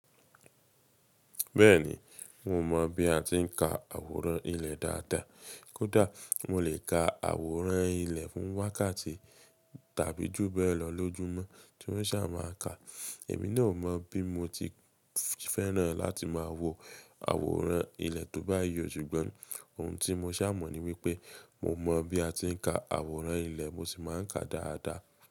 Bẹ́ẹ̀ni, mo mọ̀ bí a ti ń ka àwòrán ilẹ̀ dáadáa. Kódà mo lè ka àwòrán ilẹ̀ fún wákàtí tàbí jù bẹ́ẹ̀ lọ lójúmọ́ tí ó sà má a ka. Èmi náà o mọ̀ bí mo ti fẹ́ràn láti máa wo àwòrán ilẹ̀ tó bá yi o, ṣùgbọ́n ohun tí mo sà mọ̀ ní wípé mo mọ̀ bí a ti ń ka àwòrán ilẹ̀, mo sì máa ń ka dáadáa.